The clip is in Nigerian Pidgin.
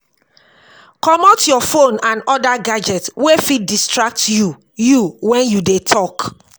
comot your phone and other gadget wey fit distract you you when you dey talk